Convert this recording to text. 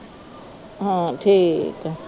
ਹਾਂ ਠੀਕ ਹੈ